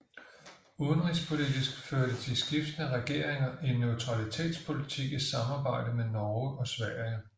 Udenrigspolitisk førte de skiftende regeringer en neutralitetspolitik i samarbejde med Norge og Sverige